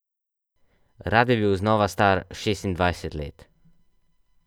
Rad bi bil znova star šestindvajset let.